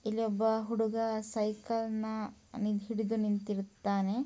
ಇಲ್ಲಿ ಒಬ್ಬ ಹುಡುಗ ಸೈಕಲನ ಹಿಡಿದು ನಿಂತಿರುತ್ತಾನೆ